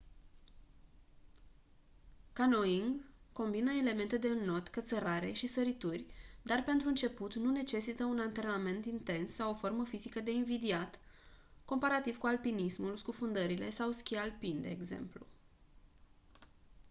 canyoning combină elemente de înot cățărare și sărituri dar pentru început nu necesită un antrenament intens sau o formă fizică de invidiat comparativ cu alpinismul scufundările sau schi alpin de exemplu